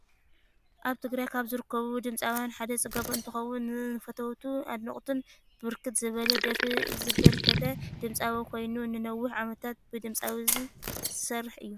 አብ ትግራይ ካብ ዝርከቡ ድምፃውያን ሓደ ፅጋቡ እንትኮውን ንፈተውቱን አድነቅቱን ብርክት ዝብለ ደርፊ ዘበርከተ ድምፃዊ ኮይን ንነዊሕ ዓመታት ብድምፃዊ ዝስርሐ እዩ።